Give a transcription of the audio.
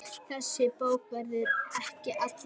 Þessi bók verður ekki allra.